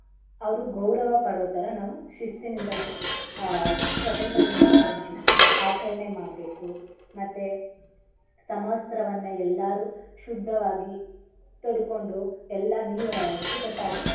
ಅವ್ರು ಗೌರವ ಪಡೋತರ ನಾವು ಶಿಸ್ತಿನಿಂದ ನಾವು ಆಹ್ ಸ್ವತಂತ್ರ ದಿನಾಚರಣೆಯನ್ನಾ ಆಚರಣೆ ಮಾಡ್ಬೇಕು ಮತ್ತೇ ಸಮವಸ್ತ್ರವನ್ನ ಎಲ್ಲಾರು ಶುದ್ದವಾಗಿ ತೊಡ್ಕೊಂಡು ಎಲ್ಲಾ ನೀ~ ಅಚ್ಚುಕಟ್ಟಾಗಿ.